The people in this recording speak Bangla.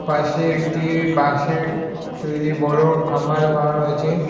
পাশে একটি বাঁশের তৈরি বড়ো বানানো হয়েছে।